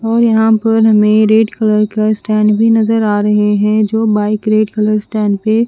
ये यहाँ पर में क रेड कलर का स्टैंड भी नज़र आ रहे है जो बाइक रेड कलर स्टैंड पे--